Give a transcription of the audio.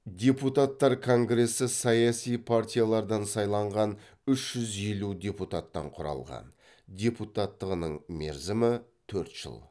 депутаттар конгресі саяси партияладын сайланған үш жүз елу депуттан құралған депуттығының мерземі төрт жыл